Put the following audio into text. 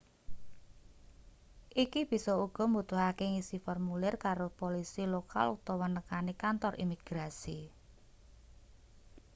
iki bisa uga mbutuhake ngisi formulir karo polisi lokal utawa nekani kantor imigrasi